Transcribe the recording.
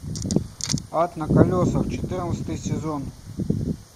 ад на колесах четырнадцатый сезон